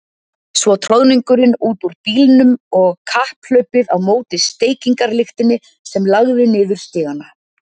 Svo troðningurinn út úr bílnum og kapphlaupið á móti steikarlyktinni sem lagði niður stigana.